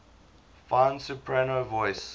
fine soprano voice